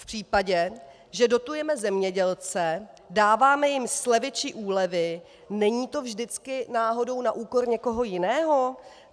V případě, že dotujeme zemědělce, dáváme jim slevy či úlevy, není to vždycky náhodou na úkor někoho jiného?